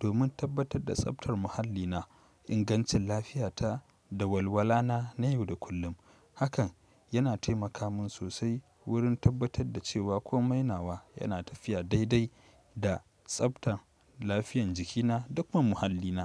domin tabbatar da tsaftar muhallina, ingancin lafiyata da walwala na na yau da kullum. Hakan yana taimaka min sosai wurin tabbatar da cewa komai nawa yana tafiya dai dai da tsaftar lafiyan jikina duk ma muhallina.